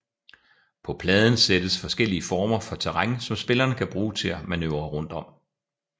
På pladen sættes forskellige former for terræn som spillerne kan bruge til at manøvrere rundt om